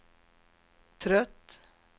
trött